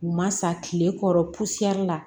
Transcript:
U ma sa tile kɔrɔ pusɛri la